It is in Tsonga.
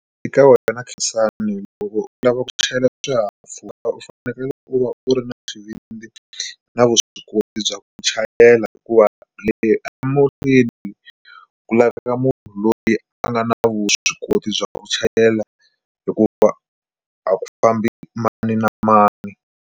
Eka wena Khensani loko u lava ku chayela swihahampfhuka u fanekele u va u ri na xivindzi na vuswikoti bya ku chayela hikuva emuntini ku laveka munhu loyi a nga na vuswikoti bya ku chayela hikuva a ku fambi mani na mani.